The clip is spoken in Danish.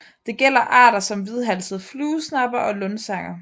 Det gælder arter som hvidhalset fluesnapper og lundsanger